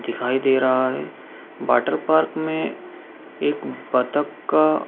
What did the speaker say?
दिखाई दे रहा है वाटर पार्क में एक बत्तख का --